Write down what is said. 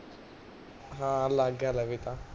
ਹਾਂ, ਲਗ ਗਿਆ ਲਵੇ ਤਾਂ